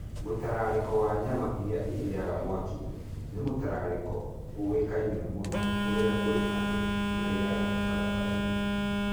Mũtararĩko wa nyama iria irĩaga mwaki-inĩ nĩ mũtararĩko ũĩkaine mũno kũrĩa kũrĩa andũ marĩĩaga barabara-inĩ.